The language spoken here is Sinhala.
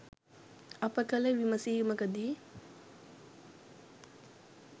අප කළ විමසීමකදී